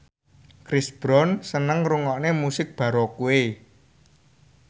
Chris Brown seneng ngrungokne musik baroque